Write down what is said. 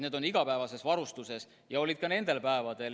Need on igapäevases varustuses ja olid ka nendel päevadel.